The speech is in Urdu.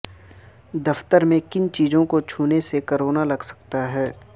دفتر میں کن چیزوں کو چھونے سے کورونا لگ سکتا ہے